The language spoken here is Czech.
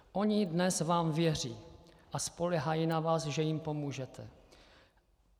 Oni vám dnes věří a spoléhají na vás, že jim pomůžete.